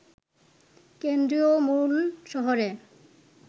কেন্দ্রীয় মূল শহরে